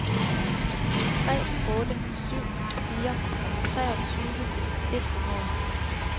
tre otte syv fire treogtyve et hundrede